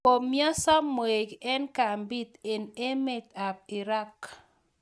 Komyonso mweik eng kambiit eng emet ab irag